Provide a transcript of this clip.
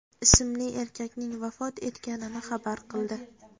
ismli erkakning vafot etganini xabar qildi .